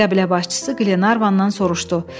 Qəbilə başçısı Qlenarvandan soruşdu: